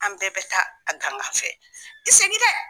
An bɛɛ bɛ taa a gangan fɛ, n t' i segin dɛ!